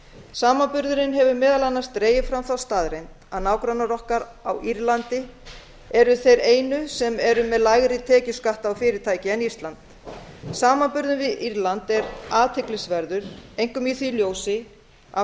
samanburðurinn hefur meðal annars dregið fram þá staðreynd að nágrannar okkar á írlandi eru þeir einu sem eru með lægri tekjuskatt á fyrirtæki en ísland samanburður við írland er athyglisverður einkum í því ljósi að